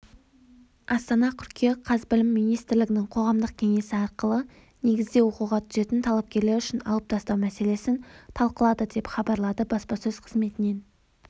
астана қыркүйек қаз білім министрлігінің қоғамдық кеңесі ақылы негізде оқуға түсетін талапкерлер үшін алып тастау мәселесін талқылады деп хабарлады баспасөз қызметінен